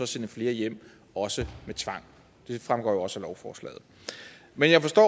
sende flere hjem også med tvang det fremgår jo også af lovforslaget men jeg forstår